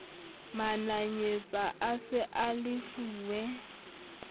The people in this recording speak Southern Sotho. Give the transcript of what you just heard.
mananyetsa a se a lefuwe